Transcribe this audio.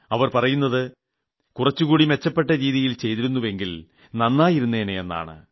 അവർ പറയുന്നത് കുറച്ചുകൂടി മെച്ചപ്പെട്ട രീതിയിൽ ചെയ്തിരുന്നുവെങ്കിൽ നന്നായിരുന്നേനെ എന്നാണ്